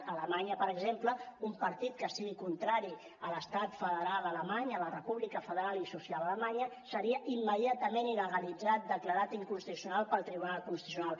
a alemanya per exemple un partit que sigui contrari a l’estat federal ale·many a la república federal i social alemanya seria immediatament il·legalitzat declarat inconstitucional pel tribunal constitucional